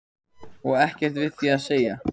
Og ekkert við því að segja.